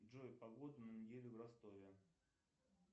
джой погода на неделю в ростове